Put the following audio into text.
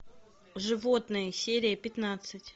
животные серия пятнадцать